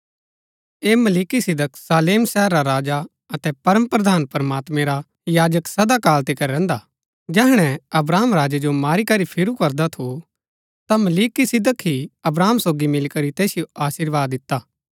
ऐह मलिकिसिदक शालेम शहर रा राजा अतै परमप्रधान प्रमात्मैं रा याजक सदा काल तिकर रैहन्दा हा जैहणै अब्राहम राजै जो मारी करी फिरू करदा थू ता मलिकिसिदक ही अब्राहम सोगी मिलीकरी तैसिओ अशीर्वाद दिता